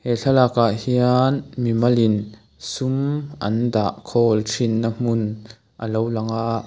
he thlalak ah hian mi mal in sum an dah khawl thin na hmun alo lang a.